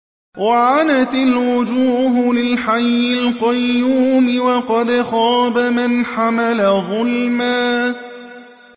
۞ وَعَنَتِ الْوُجُوهُ لِلْحَيِّ الْقَيُّومِ ۖ وَقَدْ خَابَ مَنْ حَمَلَ ظُلْمًا